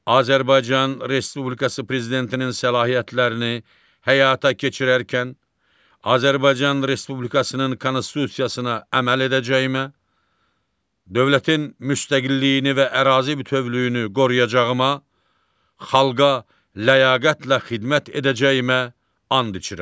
Azərbaycan Respublikası prezidentinin səlahiyyətlərini həyata keçirərkən Azərbaycan Respublikasının Konstitusiyasına əməl edəcəyimə, dövlətin müstəqilliyini və ərazi bütövlüyünü qoruyacağıma, xalqa ləyaqətlə xidmət edəcəyimə and içirəm.